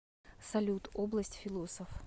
салют область философ